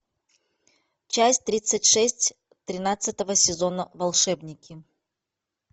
часть тридцать шесть тринадцатого сезона волшебники